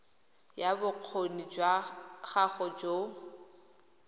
ya bokgoni jwa gago jo